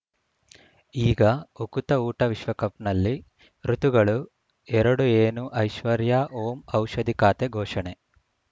ಈಗ ಉಕುತ ಊಟ ವಿಶ್ವಕಪ್‌ನಲ್ಲಿ ಋತುಗಳು ಎರಡು ಏನು ಐಶ್ವರ್ಯಾ ಓಂ ಔಷಧಿ ಖಾತೆ ಘೋಷಣೆ